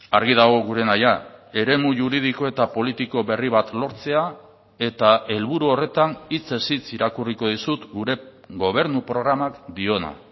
argi dago gure nahia eremu juridiko eta politiko berri bat lortzea eta helburu horretan hitzez hitz irakurriko dizut gure gobernu programak diona